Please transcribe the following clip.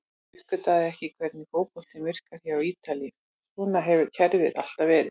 Ég uppgötvaði ekki hvernig fótboltinn virkar hér á Ítalíu, svona hefur kerfið alltaf verið.